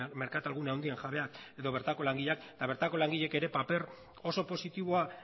merkatal gune handien jabeak edo bertako langileak eta bertako langileek ere paper oso positiboa